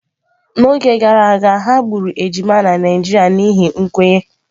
N'oge gara aga, ha gburu ejima na Naijiria n'ihi nkwenye.